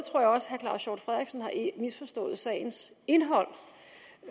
også claus hjort frederiksen har misforstået sagens indhold